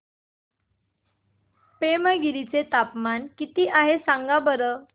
पेमगिरी चे तापमान किती आहे सांगा बरं